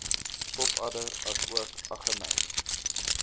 pofadder asook aggeneys